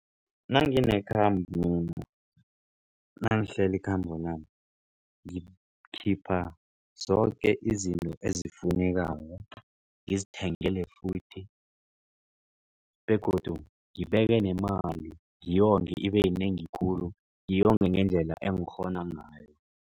Nanginekhambo nangihlela ikhambo lami mina zoke izinto ezifunekako ngizithengele futhi begodu ngibeke nemali ngiyonge ibeyinengi khulu ngiyonge ngendlela engikghona ngayo.